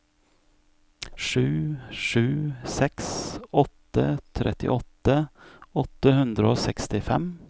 sju sju seks åtte trettiåtte åtte hundre og sekstifem